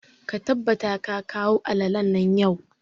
Ka tabbata ka kawo alalalen nan yau!